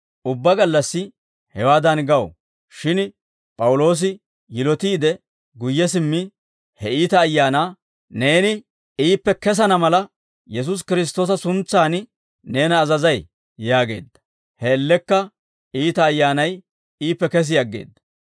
Ubbaa gallassi hewaadan gaw; shin P'awuloosi yilotiide guyye simmi, he iita ayaanaa, «Neeni iippe kesana mala Yesuusi Kiristtoosa suntsan neena azazay» yaageedda; he man''iyaan iita ayyaanay iippe kesi aggeedda.